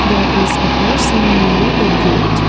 there is a person near the gate.